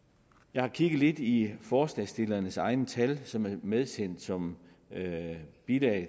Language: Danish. jeg har kigget lidt i forslagsstillernes egne tal som er medsendt som bilag